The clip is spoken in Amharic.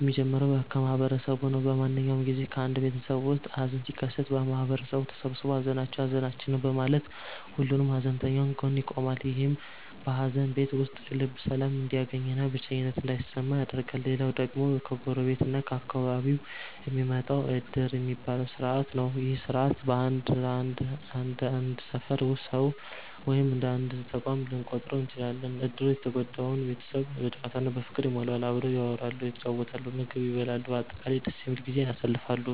የሚጀምረው ከማህበረሰቡ ነው። በማንኛውም ጊዜ በአንድ ቤተሰብ ውስጥ ሃዘን ሲከሰት፣ ማህበረሰቡ ተሰብስቦ 'ሃዘናችሁ ሃዘናችን ነው' በማለት ሁሉም ከሃዘንተኛው ጎን ይቆማል። ይህም በሃዘን ቤት ውስጥ ልብ ሰላም እንዲያገኝና ብቸኝነት እንዳይሰማ ያደርጋል። ሌላው ደግሞ ከጎረቤት እና ከአካባቢው የሚመጣው 'ዕድር' የሚባለው ሥርዓት ነው። ይህ ሥርዓት እንደ አንድ ሰፈር ሰው ወይም እንደ አንድ ተቋም ልንቆጥረው እንችላለን። ዕድሩ የተጎዳውን ቤተሰብ በጨዋታ እና በፍቅር ይሞላዋል። አብረው ያወራሉ፣ ይጫወታሉ፣ ምግብ ይበላሉ፤ በአጠቃላይ ደስ የሚል ጊዜን ያሳልፋሉ።